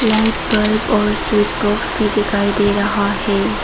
Light bulb और switch box भी दिखाई दे रहा है।